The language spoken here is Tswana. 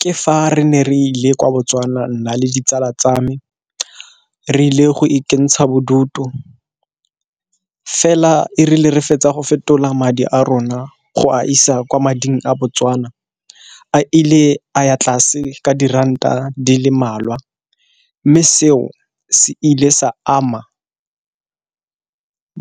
Ke fa re ne re ile kwa Botswana nna le ditsala tsa me re ile go ikentsha bodutu, fela e rile re fetsa go fetola madi a rona go a isa kwa mading a Botswana a ile a ya tlase ka diranta di le mmalwa. Mme seo se ile sa ama